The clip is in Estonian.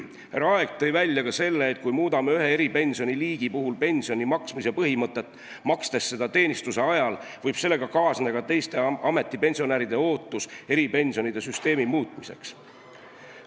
Härra Aeg tõi esile ka selle, et kui muudame ühe eripensioni liigi puhul pensioni maksmise põhimõtet, makstes seda teenistuse ajal, võib sellega kaasneda teiste ametipensionäride ootus eripensionide süsteemi muutmiseks.